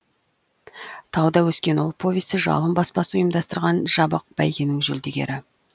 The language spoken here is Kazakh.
тауда өскен ұл повесі жалын баспасы ұйымдастырған жабық бәйгенің жүлдегері